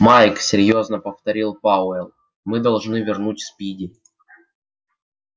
майк серьёзно повторил пауэлл мы должны вернуть спиди